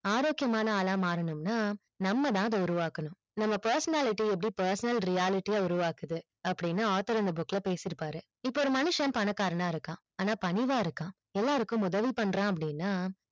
ஆரோக்கியமான ஆள்அ மாறனும்னா நம்ம தான் அத உருவாக்கனும் நம்ம personality எப்படி personal reality உருவாக்குது அப்டின்னா author அந்த book ல பேசி இருப்பாரு இப்ப ஒரு மனுஷன் பணக்காரன் அ இருக்கான் ஆன பணிவா இருக்கான் எல்லாருக்கும் உதவி பன்றான் அப்டின்னா